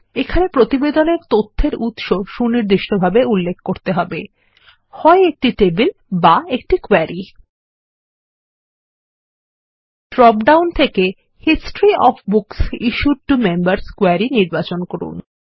এখানে প্রতিবেদনেরতথ্যেরউৎস সুনির্দিষ্টভাবে উল্লেখ করতে হবে হয় একটি টেবিল বা একটি কোয়েরি ড্রপ ডাউনথেকেHistory of books issued to members query নির্বাচন করুন